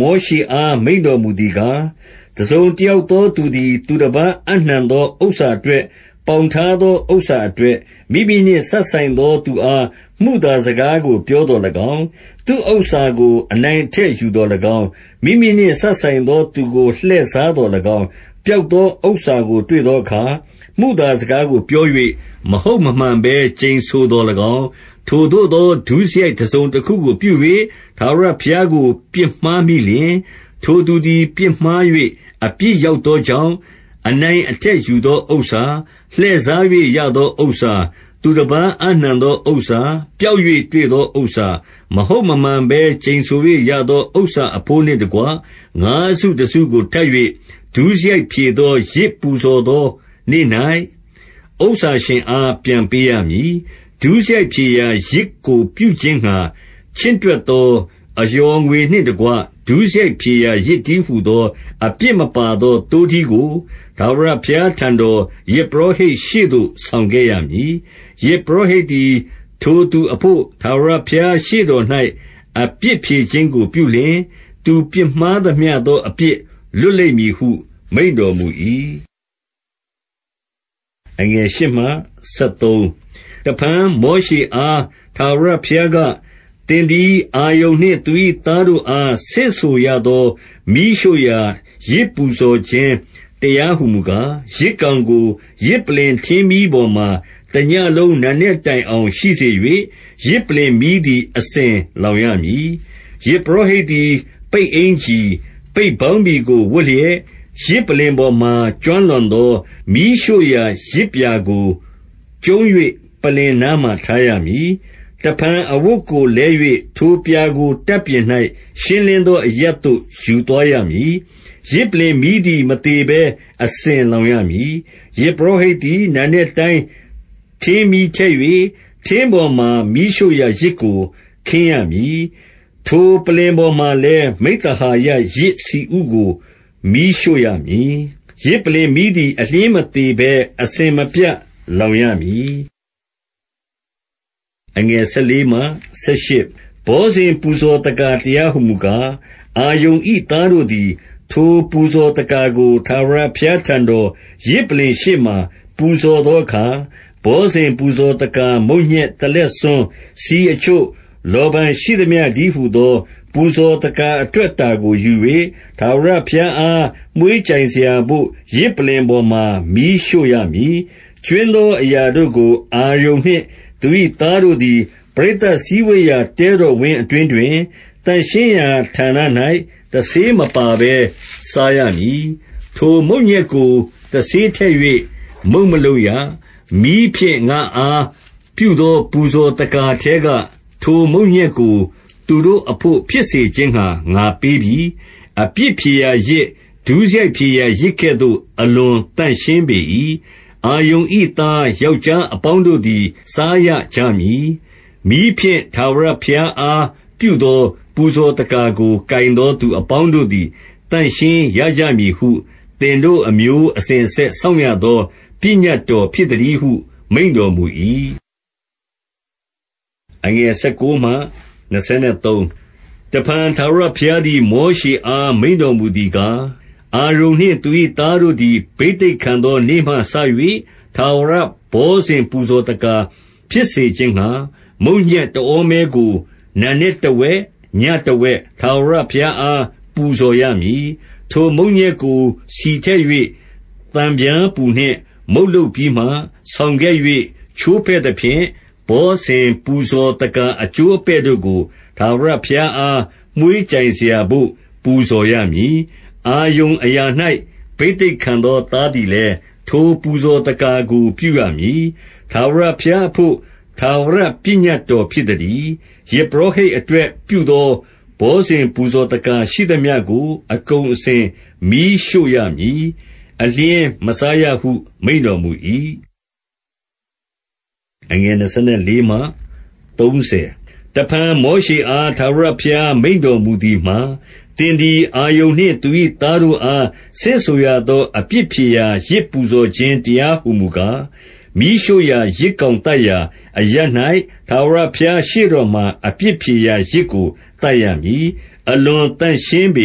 မောရှေအား မိန့်တော်မူသည်ကား၊ 2 တစုံတယောက်သောသူသည် သူတပါးအပ်နှံသော ဥစ္စာအတွက် ပေါင်ထားသော ဥစ္စာအတွက်၊ မိမိနှင့် စပ်ဆိုင်သောသူအား မုသားစကားကို ပြောသော်၎င်း၊ သူဥစ္စာကို အနိုင်အထက်ယူသော်၎င်း၊ မိမိနှင့် စပ်ဆိုင်သောသူကို လှည့်စား သော်၎င်း၊ 3 ပျောက်သောဥစ္စာကို တွေ့သောအခါ၊ မုသာစကားကိုပြော၍ မဟုတ်မမှန်ဘဲ ကျိန်ဆိုသော်၎င်း၊ ထိုသို့သော ဒုစရိုက်တစုံတခုကို ပြု၍ ထာဝရဘုရားကို ပြစ်မှားမိလျှင်၊ 4 ထိုသူသည် ပြစ်မှား၍ အပြစ်ရောက်သောကြောင့်၊ အနိုင်အထက်ယူသော ဥစ္စာ၊ လှည့်စား၍ ရသော ဥစ္စာ ၊ သူတပါး အပ်နှံသော ဥစ္စာ၊ ပျောက်၍တွေ့သော ဥစ္စာ၊ 5 မဟုတ်မမှန်ဘဲ ကျိန်ဆို၍၊ ရသောဥစ္စာ အဘိုးနှင့်တကွ၊ ငါးစုတစုကို ထပ်၍ ဒုစရိုက်ဖြေသော ယဇ်ပူဇော်သောနေ့၌ ဥစ္စာရှင်အား ပြန်ပေးရမည်။ 6 ဒုစရိုက်ဖြေရာယဇ်ကို ပြုခြင်းငှါ ချင့်တွက်သော အလျော်ငွေနှင့်တကွ၊ ဒုစရိုက်ဖြေရာယဇ်တည်းဟူ သော အပြစ်မပါသော သိုးထီးကို၊ ထာဝရဘုရားထံတော်၊ ယဇ်ပုရောဟိတ်ရှေ့သို့ ဆောင်ခဲ့ရမည်။ 7 ယဇ်ပုရောဟိတ်သည် ထိုသူအဘို့ ထာဝရဘုရားရှေ့တော်၌ အပြစ်ဖြေခြင်းကို ပြုလျှင်၊ သူပြစ်မှား သမျှသော အပြစ်လွတ်လိမ့်မည်ဟု မိန့်တော်မူ၏။ 8 တဖန်မောရှေအား ထာဝရဘုရားက၊ 9 သင်သည် အာရုန်နှင့် သူ၏သားတို့အား ဆင့်ဆိုရသော မီးရှို့ရာ ယဇ်ပူဇော်ခြင်းတရားဟု မူကား၊ ယဇ်ကောင်ကို၊ ယဇ်ပလ္လင် ထင်းမီးပေါ်မှာ တညဉ့်လုံး နံနက်တိုင်အောင်ရှိစေ၍၊ ယဇ်ပလ္လင်မီးသည် အစဉ်လောင်ရမည်။ 10 ယဇ်ပုရောဟိတ်သည် ပိတ်အင်္ကျီ၊ ပိတ်ပေါင်းဘီကို ဝတ်လျက်၊ ယဇ်ပလ္လင်ပေါ်မှာ ကျွမ်းလောင်သော မီးရှို့ရာ ယဇ်ပြာကို ကျုံး၍ ပလ္လင်အနားမှာ ထားရမည်။ 11 တဖန် အဝတ်ကိုလဲ၍၊ ထိုပြာကို တပ်ပြင်၌ ရှင်းလင်းသောအရပ်သို့ ယူသွားရမည်။ 12 ယဇ်ပလ္လင်မီးသည် မသေဘဲ အစဉ်လောင်ရမည်။ ယဇ်ပုရောဟိတ်သည် နံနက်တိုင်း ထင်းမီးထည့်၍၊ ထင်းပေါ်မှာ မီးရှို့ရာယဇ်ကို ခင်းရမည်။ ထိုပလ္လင်ပေါ်မှာလည်း၊ မိဿဟာယယဇ်ဆီဥကို မီးရှို့ရမည်။ 13 ယဇ်ပလ္လင်မီးသည် အလျှင်းမသေဘဲ၊ အစဉ်မပြတ်လောင်ရမည်။ 14 ဘောဇဉ် ပူဇော်သက္ကာ တရားဟူမူကား၊ အာရုန်၏သားတို့သည် ထိုပူဇော်သက္ကာကို ထာဝရ ဘုရားထံတော်၊ ယဇ်ပလ္လင်ရှေ့မှာ ပူဇော်သောအခါ၊ 15 ဘောဇဉ်ပူဇော်သက္ကာ မုန့်ညက်တလက်ဆွန်း၊ ဆီအချို့၊ လောဗန်ရှိသမျှတည်းဟူသော ပူဇော်သက္ကာ အတွက်အတာကိုယူ၍ ထာဝရဘုရားအား မွှေးကြိုင်စရာဘို့၊ ယဇ်ပလ္လင်ပေါ်မှာ မီးရှို့ရမည်။ 16 ကြွင်းသောအရာတို့ကို၊ အာရုန်နှင့် သူ၏သားတို့သည်၊ ပရိသတ်စည်းဝေးရာ တဲတော်ဝင်းအတွင်း တွင်၊ သန့်ရှင်းရာဌာန၌ တဆေးမပါဘဲ စားရမည်။ 17 ထိုမုန့်ညက်ကို တဆေးထည့်၍ မုန့်မလုပ်ရ။ မီးဖြင့် ငါ့အား ပြုသော ပူဇော်သက္ကာထဲက ထိုမုန့်ညက် ကို သူတို့အဘို့ ဖြစ်စေခြင်းငှါ ငါပေးပြီ။ အပြစ်ဖြေရာယဇ်၊ ဒုစရိုက်ဖြေရာယဇ်ကဲ့သို့ အလွန်သန့်ရှင်း ပေ၏။ 18 အာရုန်၏ သားယောက်ျားအပေါင်းတို့သည် စားရကြမည်။ မီးဖြင့် ထာဝရဘုရားအား ပြုသော ပူဇော်သက္ကာကို ကိုင်သောသူအပေါင်းတို့သည် သန့်ရှင်းကြမည်ဟု သင်တို့အမျိုးအစဉ်အဆက် စောင့်ရသော ပညတ်တော် ဖြစ်သတည်းဟု မိန့်တော်မူ၏။ 19 တဖန်ထာဝရဘုရားသည်၊ မောရှေအား မိန့်တော်မူသည်ကား၊ 20 အာရုန်နှင့် သူ၏သားတို့သည် ဘိသိက်ခံသောနေ့မှစ၍၊ ထာဝရဘောဇဉ် ပူဇော်သက္ကာဖြစ်စေခြင်း ငှါ၊ မုန့်ညက်တဩမဲကို၊ နံနက်တဝက်၊ ညတဝက် ထာဝရဘုရားအား ပူဇော်ရမည်။ 21 ထိုမုန့်ညက်ကို ဆီထည့်၍၊ သံပြားပူနှင့် မုန့်လုပ်ပြီးမှ၊ ဆောင်ခဲ့၍ ချိုးဖဲ့သဖြင့် ဘောဇဉ်ပူဇော်သက္ကာ အကျိုးအပဲ့တို့ကို ထာဝရဘုရားအား မွှေးကြိုင်စရာဘို့ ပူဇော်ရမည်။ 22 အာရုန်အရာ၌ ဘိသိက်ခံသော သားသည်လည်း၊ ထိုပူဇော်သက္ကာကို ပြုရမည်။ ထာဝရဘုရားအဘို့ ထာဝရပညတ်တော် ဖြစ်သတည်း။ 23 ယဇ်ပုရောဟိတ်အတွက် ပြုသောဘောဇဉ် ပူဇော်သက္ကာရှိသမျှကို အကုန်အစဉ် မီးရှို့ရမည်။ အလျှင်းမစားရဟု မိန့်တော်မူ၏ 24 တဖန်မောရှေအား ထာဝရဘုရား မိန့်တော်မူသည်မှာ၊ 25 သင်သည် အာရုန်နှင့် သူ၏သားတို့အား ဆင့်ဆိုရသော အပြစ်ဖြေရာယဇ် ပူဇော်ခြင်းတရားဟူမူကား၊ မီးရှို့ရာယဇ်ကောင်သတ်ရာအရပ်၌ ထာဝရဘုရားရှေ့တော်မှာ အပြစ်ဖြေရာယဇ်ကို သတ်ရမည်။ အလွန်သန့်ရှင်းပေ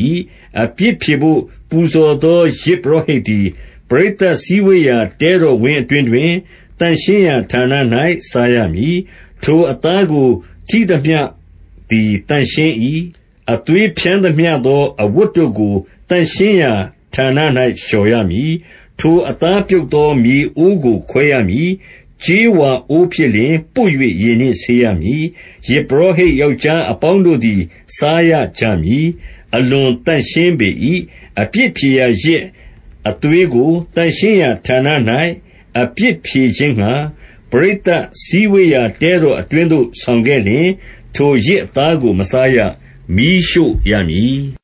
၏။ 26 အပြစ်ဖြေဘို့ ပူဇော်သော ယဇ်ပုရောဟိတ်သည်၊ ပရိသတ်စည်းဝေးရာ တဲတော်ဝင်းအတွင်းတွင် သန့်ရှင်းရာဌာန၌ စားရမည်။ 27 ထိုအသားကို ထိသမျှသည် သန့်ရှင်း၏။ အသွေးဖြန်းသမျှသော အဝတ်တို့ကို သန့်ရှင်းရာဌာန၌ လျော်ရမည်။ 28 ထိုအသားပြုတ်သော မြေအိုးကို ခွဲရမည်။ ကြေးဝါအိုးဖြစ်လျှင် ပွတ်၍ ရေနှင့်ဆေးရမည်။ 29 ယဇ်ပုရောဟိတ် ယောက်ျားအပေါင်းတို့သည် စားရကြမည်။ 30 အလွန်သန့်ရှင်းပေ၏။ အပြစ်ဖြေရာယဇ် အသွေးကို သန့်ရှင်းရာဌာန၌ အပြစ်ဖြေခြင်းငှါ၊ ပရိတ်သတ်စည်းဝေးရာ တဲတော်အတွင်းသို့ ဆောင်ခဲ့လျှင်၊ ထိုယဇ်အသားကို မစားရ။ မီးရှို့ရမည်။